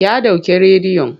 Ya ɗauke rediyon.